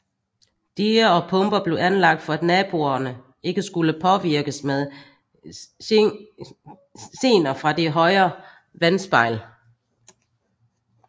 Diger og pumper blev anlagt for at naboerne ikke skulle påvirkes med gener fra det højere vandspejl